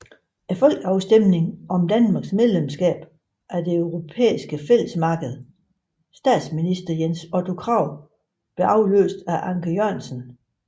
Folkeafstemning om Danmarks medlemskab af det Europæiske Fællesmarked Statsminister Jens Otto Krag blev afløst af Anker Jørgensen